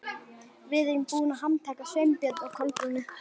Við erum búin að handtaka Sveinbjörn og Kolbrúnu.